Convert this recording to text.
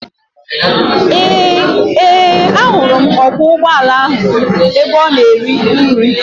Ee, ahụrụ m ọkwọ ụgbọala ahụ ebe ọ na-eri nri.